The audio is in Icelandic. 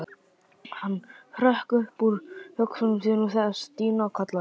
Hann hrökk upp úr hugsunum sínum þegar Stína kallaði.